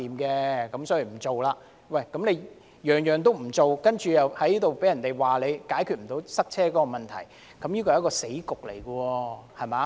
政府甚麼建議也不採納，被人指責解決不到塞車問題，這是一個死局。